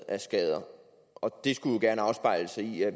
af skader det skulle jo gerne afspejle sig i at